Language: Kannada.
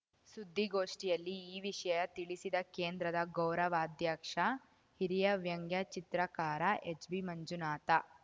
ಸುದ್ದಿಗೋಷ್ಠಿಯಲ್ಲಿ ಈ ವಿಷಯ ತಿಳಿಸಿದ ಕೇಂದ್ರದ ಗೌರವಾಧ್ಯಕ್ಷ ಹಿರಿಯ ವ್ಯಂಗ್ಯ ಚಿತ್ರಕಾರ ಎಚ್‌ಬಿಮಂಜುನಾಥ